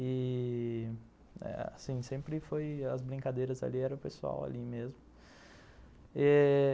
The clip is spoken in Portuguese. E, assim, sempre foi as brincadeiras ali, era o pessoal ali mesmo. Eh...